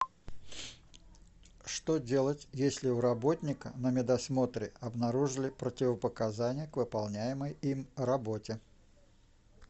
что делать если у работника на медосмотре обнаружили противопоказания к выполняемой им работе